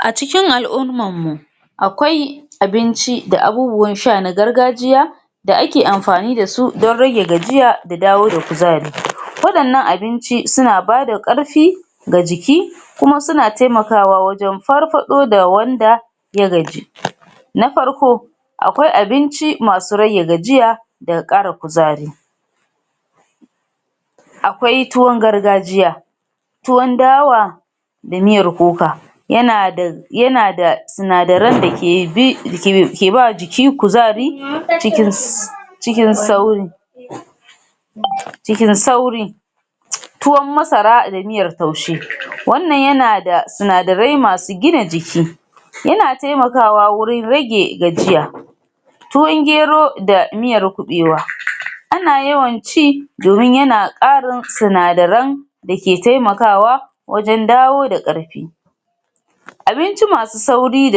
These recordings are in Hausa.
A cikin al'ummammu akwai abinci da abubuwan sha na gargajiya da ake amfani da su don rage gajiya da dawo da kuzari, waɗannan abinci sina bada ƙarfi ga jiki, kuma suna temakawa wajen farfaɗo da wanda ya gaji. Na farko: Akwai abinci masu rage gajiya da ƙara kuzari, akwai tuwon gargajiya, tuwon dawa da miyar kuka, yana da yana da sinadaran da ke bi ke keba jiki kuzari cikin s cikin sauri, cikin sauri. Tuwon masara da miyar taushe wannan yana da sinadarai masu gina jiki, yana temakawa wwurin rage gajiya, tuwon gero da miyar kuɓewa ana yawan ci domin yana ƙarin sinadaran dake taimakawa wajen dawoda ƙarfi, abinci masu sauri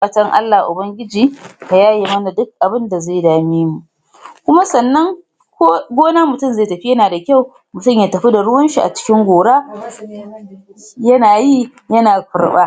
fatan Allah ubangiji ka yaye mana dik abinda ze dame mu, kuma sannan ko gona mutin ze tafi yana da kyau mutin ya tafi da ruwanshi a cikin gora, yana yi yana kurɓa.